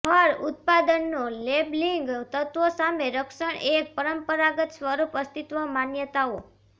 ફર ઉત્પાદનો લેબલિંગ તત્વો સામે રક્ષણ એક પરંપરાગત સ્વરૂપ અસ્તિત્વ માન્યતાઓ